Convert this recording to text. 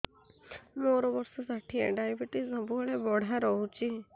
ମୋର ବର୍ଷ ଷାଠିଏ ଡାଏବେଟିସ ସବୁବେଳ ବଢ଼ା ରହୁଛି